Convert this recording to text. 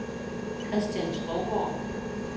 Christian Skovgaard